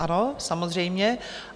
Ano, samozřejmě.